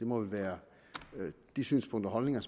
må vel være de synspunkter og holdninger